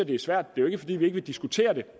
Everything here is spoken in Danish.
det er svært det er ikke fordi vi ikke vil diskutere det